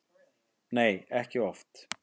Nei, ekki oft.